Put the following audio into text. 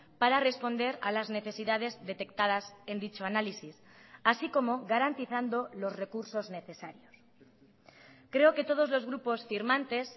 para responder a las necesidades detectadas en dicho análisis así como garantizando los recursos necesarios creo que todos los grupos firmantes